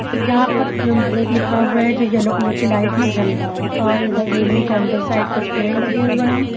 यहां पर cool break लिखा हुआ है जो येलो कलर की लाइट में जल रहा है और इधर रेलिंग के अंदर साइड कुछ पेड़ लगे हुए हैं।